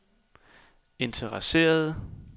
interesserede